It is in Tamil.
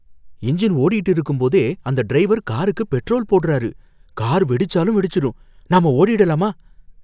இன்ஜின் ஓடிட்டு இருக்கும்போதே அந்த டிரைவர் காருக்கு பெட்ரோல் போடுறாரு. கார் வெடிச்சாலும் வெடிச்சிடும். நாம ஓடிடலாமா?